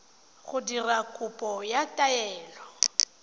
go dira kopo ya taelo